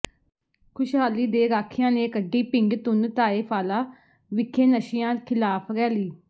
ਖੁਸ਼ਹਾਲੀ ਦੇ ਰਾਖਿਆਂ ਨੇ ਕੱਢੀ ਪਿੰਡ ਧੁੰਨ ਢਾਏ ਵਾਲਾ ਵਿਖੇ ਨਸ਼ਿਆਂ ਖਿਲਾਫ ਰੈਲੀ